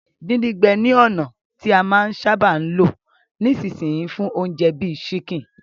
Díndín-gbẹ ni ònà ti a máa n sábà lo nisínsìn yii fún ounje bi chicken